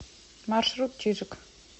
маршрут чижик